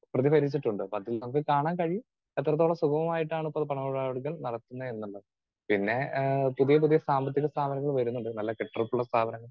Speaker 2 പ്രതിഫലിച്ചിട്ടുണ്ട്. അപ്പൊ അതിൽ നമുക്ക് കാണാൻ കഴിയും എത്രത്തോളം സുഗമമായിട്ടാണ് പണമിടപാടുകൾ നടത്തുന്നത് എന്നുള്ളത്. പിന്നെ ആഹ് പുതിയ പുതിയ സാമ്പത്തിക സ്ഥാപനങ്ങൾ വരുന്നുണ്ട് നല്ല കെട്ടുറപ്പുള്ള സ്ഥാപനങ്ങൾ